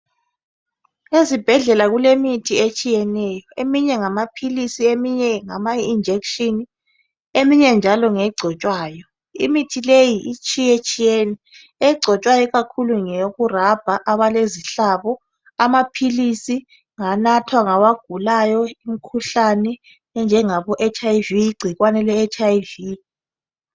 Ezibhedlela kulemithi etshiyeneyo, eminye ngamaphilisi, eminye ngama injection eminye njalo ngegcotshwayo. Imithi leyi etshiyetshiyene egcotshwayo ikakhulu ngeyokurabha ikakhulu abalezihlabo, amaphilisi nganathwa ngabagulayo imkhuhlane enjengabo HIV ingcikwane HIV.